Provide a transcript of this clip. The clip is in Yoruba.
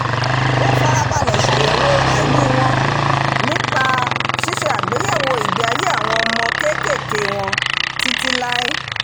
wọn farabalẹ̀ ṣàyẹ̀wò àìní wọn nípa ṣíṣe àgbéyèwò ìgbé ayé àwọn ọmọ kéékèèké wọn títí láé